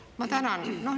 Ma tänan!